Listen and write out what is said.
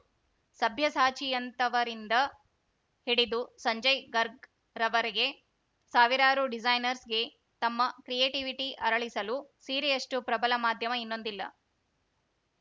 ಸಭ್ಯಸಾಚಿಯಂಥವರಿಂದ ಹಿಡಿದು ಸಂಜಯ್‌ ಗರ್ಗ್‌ವರೆಗೆ ಸಾವಿರಾರು ಡಿಸೈನರ್ಸ್‌ಗೆ ತಮ್ಮ ಕ್ರಿಯೇಟಿವಿಟಿ ಅರಳಿಸಲು ಸೀರೆಯಷ್ಟುಪ್ರಬಲ ಮಾಧ್ಯಮ ಇನ್ನೊಂದಿಲ್ಲ